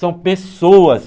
São pessoas.